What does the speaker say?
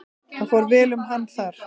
Það fór vel um hann þar.